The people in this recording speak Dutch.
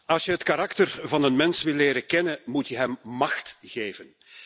Als je het karakter van een mens wilt leren kennen, moet je hem macht geven.